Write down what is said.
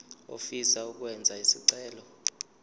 ofisa ukwenza isicelo